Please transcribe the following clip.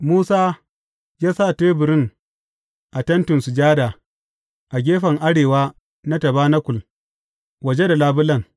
Musa ya sa teburin a Tentin Sujada, a gefen arewa na tabanakul waje da labulen.